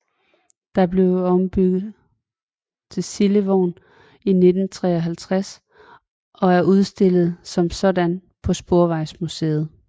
Den blev ombygget til slibevogn i 1953 og er udstillet som sådan på Sporvejsmuseet